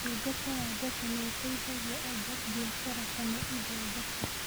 Ũtungata wa mbeca nĩ ũteithagia andũ, biacara, kana ithondeka.